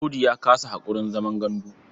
Audu ya kasa haƙurin zaman gandu.